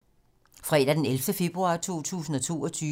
Fredag d. 11. februar 2022